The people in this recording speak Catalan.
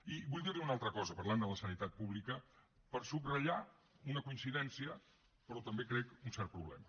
i vull dir li una altra cosa parlant de la sanitat pública per subratllar una coincidència però també crec un cert problema